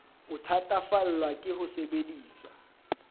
o thatafallwa ke ho sebedisa